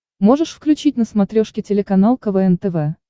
можешь включить на смотрешке телеканал квн тв